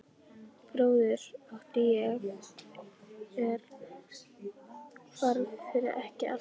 Bróður átti ég er hvarf fyrir ekki allt löngu.